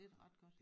Det da ret godt